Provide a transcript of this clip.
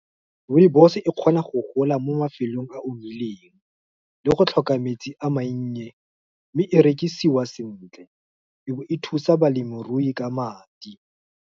Rooibos e kgona go gola mo mafelong a omileng, le go tlhoka metsi a mannye, mme e rekisiwa sentle, ebe thusa balemirui ka madi.